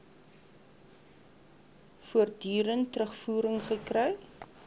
voortdurend terugvoering gekry